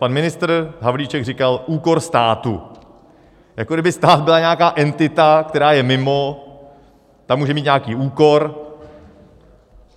Pan ministr Havlíček říkal: úkor státu, jako kdyby stát byla nějaká entita, která je mimo, ta může mít nějaký úkor.